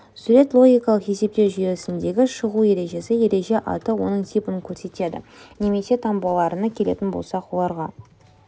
сурет логикалық есептеу жүйесіндегі шығу ережесі ереже аты оның типін көрсетеді немесе таңбаларына келетін болсақ оларға